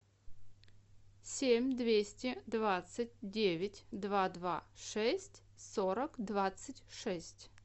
семь двести двадцать девять два два шесть сорок двадцать шесть